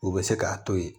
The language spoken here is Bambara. U bɛ se k'a to yen